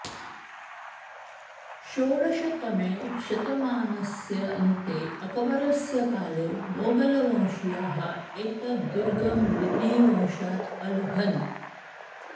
षोडषतमे शतमानस्य अन्ते अक्बरस्य काले मोघलवंशीयाः एतत् दुर्गम् लूदीवंशात् अलभन्